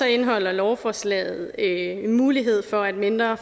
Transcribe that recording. indeholder lovforslaget en mulighed for at mindre